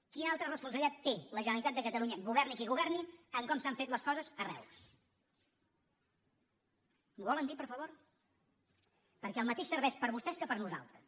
quina altra responsabilitat té la generalitat de catalunya governi qui governi en com s’han fet les coses a reus m’ho volen dir per favor perquè el mateix serveix per a vostès que per a nosaltres